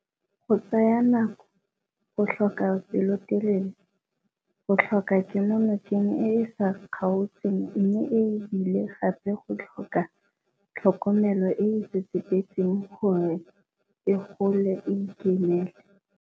Go tsaya nako, go tlhoka pelotelele, go tlhoka kemonokeng e e sa kgaotseng mme e bile gape go tlhoka tlhokomelo e e tsetsepetseng gore e gole e ikemele.